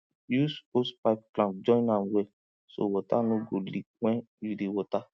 use hosepipe clamp join am well so water no go leak when you dey water